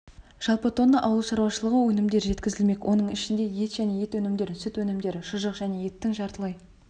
жалпы тонна ауыл шаруашылығы өнімдері жеткізілмек оның ішінде ет және ет өнімдері сүт өнімдері шұжық және еттің жартылай